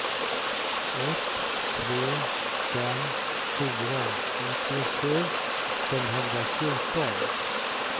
ett tre fem fyra nittiosju femhundrafjorton